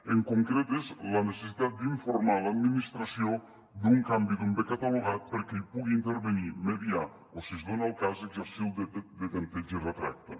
en concret és la necessitat d’informar l’administració d’un canvi d’un bé catalogat perquè hi pugui intervenir mediar o si es dona el cas exercir el dret de tempteig i retracte